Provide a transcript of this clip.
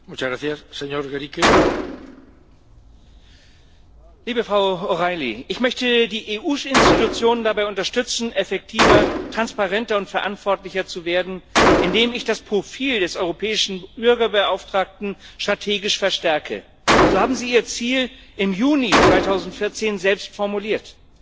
Herr Präsident, liebe Frau O´Reilly! Ich möchte die EU Institutionen dabei unterstützen, effektiver, transparenter und verantwortlicher zu werden, indem ich das Profil des Europäischen Bürgerbeauftragten strategisch verstärke. So haben Sie Ihr Ziel im Juni 2014 selbst formuliert.